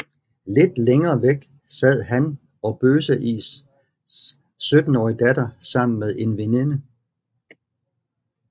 Lidt længere væk sad han og Bøseis syttenårige datter sammen med en veninde